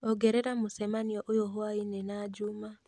ongerera mũcemanio ũyũ hwaĩ-inĩ na juma